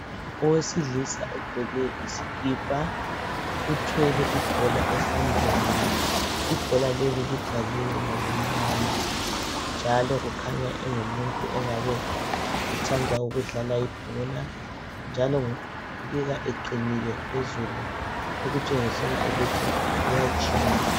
Owesilisa ogqoke isikipa uthwele ibhola esandleni ibhola leli libhaliwe ngokumnyama njalo ukhanya engumuntu ongabe ethanda ukudlala ibhola njalo ubukeka eqinile ukutshengisele ukuthi uyajima.